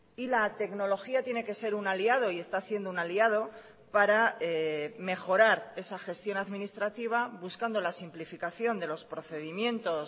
y la tecnología tiene que ser un aliado y está siendo un aliado para mejorar esa gestión administrativa buscando la simplificación de los procedimientos